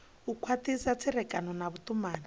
u khwathisa tserekano na vhutumani